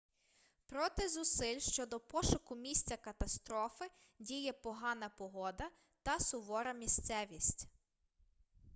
проти зусиль щодо пошуку місця катастрофи діє погана погода та сувора місцевість